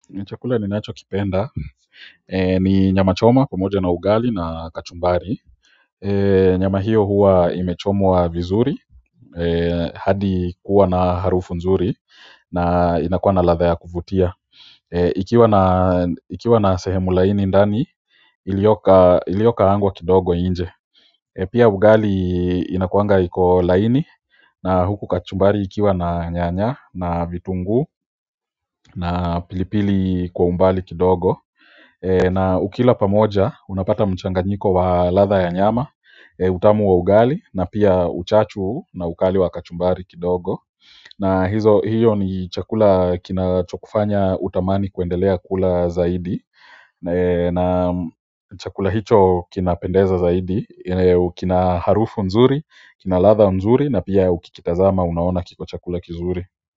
Ni chakula ninacho kipenda ni nyama choma pamoja na ugali na kachumbari nyama hiyo huwa imechomwa vizuri hadi kuwa na harufu nzuri na inakuwa na ladha ya kuvutia, ikiwa na ikiwa na sehemu laini ndani iliyo iliyokaangwa kidogo nje pia ugali inakuanga iko laini na huku kachumbari ikiwa na nyanya na vitungu na pilipili kwa umbali kidogo na ukila pamoja unapata mchanganyiko wa ladha ya nyama utamu wa ugali na pia uchachu na ukali wa kachumbari kidogo na hiyo ni chakula kinachokufanya utamani kuendelea kula zaidi na chakula hicho kinapendeza zaidi kina harufu nzuri, kina ladha nzuri na pia ukikitazama unaona kiko chakula kizuri.